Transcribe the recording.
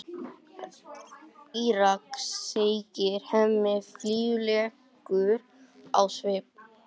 Írak, segir Hemmi, fýlulegur á svip.